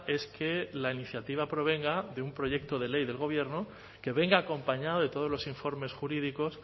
es que la iniciativa provenga de un proyecto de ley del gobierno que venga acompañado de todos los informes jurídicos